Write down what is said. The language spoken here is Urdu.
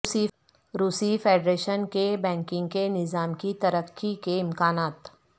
روسی فیڈریشن کے بینکنگ کے نظام کی ترقی کے امکانات